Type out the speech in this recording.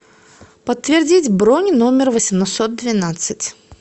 подтвердить бронь номер восемьсот двенадцать